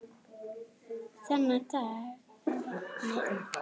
Þennan dag við vatnið.